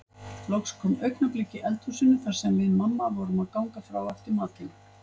Loks kom augnablik í eldhúsinu þar sem við mamma vorum að ganga frá eftir matinn.